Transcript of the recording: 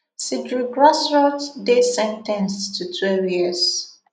cedric grassot dey sen ten ced to twelve years